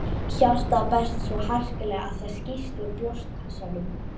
Hjartað berst svo harkalega að það skýst úr brjóstkassanum.